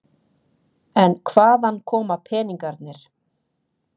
En hvaðan koma peningarnir?